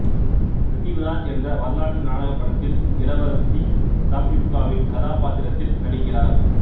பிருத்விராஜ் என்ற வரலாற்று நாடக படத்தில் இளவரசி சம்யுக்தாவின் கதாபாத்திரத்தில் நடிக்கிறார்